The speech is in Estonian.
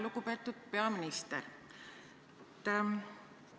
Lugupeetud peaminister!